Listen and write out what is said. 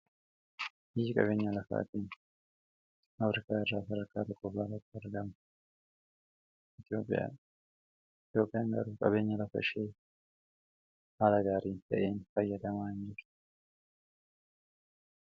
biyyii qabeenya lakaafatiin afriikaa irraa sadaakka tokkofaaraat argaamu etiiyoophiyaadha etiiyoophiyaan garuu qabeenya lafaashee haala gaariin ta'een fayyadamaaniruu